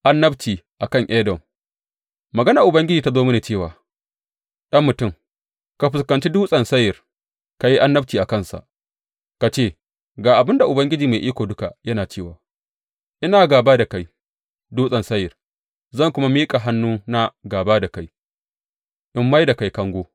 Annabci a kan Edom Maganar Ubangiji ta zo mini cewa, Ɗan mutum, ka fuskanci Dutsen Seyir; ka yi annabci a kansa ka ce, Ga abin da Ubangiji Mai Iko Duka yana cewa ina gāba da kai, Dutsen Seyir, zan kuma miƙa hannuna gāba da kai in mai da kai kango.